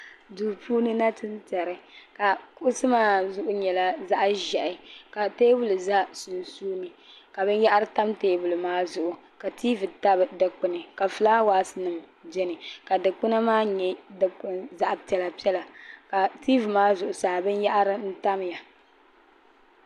Duu puuni nachintɛri kuɣisi maa zuɣu nyɛla zaɣ' ʒɛhi ka teebuli za sunsuuni ka binyɛra tam teebuli maa zuɣu ka TV tabi dukpuni ka filaawasi beni ka dukpuna maa zaɣ' piɛlapiɛla ka TV maa zuɣusaa ka binyɛra tamya